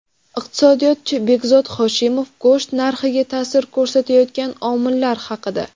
Iqtisodiyotchi Behzod Hoshimov go‘sht narxiga ta’sir ko‘rsatayotgan omillar haqida.